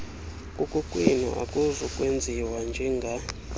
kukokwenu akuzokwenziwa njenga